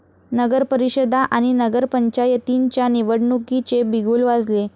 नगरपरिषदा आणि नगरपंचायतींच्या निवडणुकीचे बिगुल वाजले